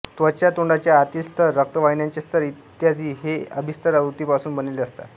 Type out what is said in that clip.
त्वचा तोंडाच्या आतील स्थर रक्तवाहिन्यांचे स्थर इ हे अभिस्थर उतीपासून बनलेले असतात